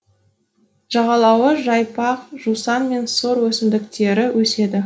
жағалауы жайпақ жусан мен сор өсімдіктері өседі